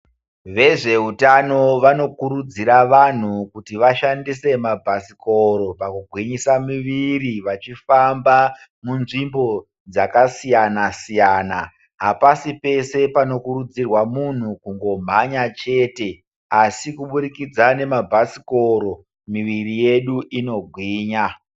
Vezveutano vanokurudzira vanhu kuti vashandise mabhasikoro pakugwinyisa miviri vachifamba munzvimbo dzakasiyana-siyana. Hapasi pese panokurudzirwa munhu kungomhanya chete, asi kuburikidza nemabhasikoro, miviri yedu inogwinya.